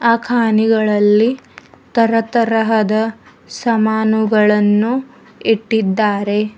ಆ ಕಾಣಿಗಳಲ್ಲಿ ತರತರಹದ ಸಮಾನುಗಳನ್ನು ಇಟ್ಟಿದ್ದಾರೆ.